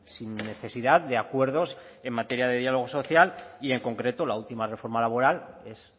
sin necesidad de acuerdos en materia de diálogo social y en concreto la última reforma laboral es